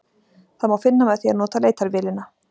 Það má finna með því að nota leitarvélina.